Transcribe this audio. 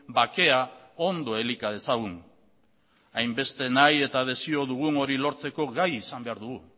bakea ondo elika dezagun hainbeste nahi eta desio dugun hori lortzeko gai izan behar dugu